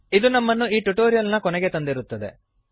ಇದು ನಮ್ಮನ್ನು ಈ ಟ್ಯುಟೋರಿಯಲ್ ನ ಕೊನೆಗೆ ತಂದಿರುತ್ತದೆ